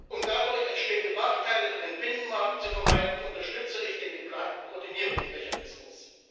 Um dadurch entstehende Nachteile für den Binnenmarkt zu vermeiden, unterstütze ich den geplanten Koordinierungsmechanismus.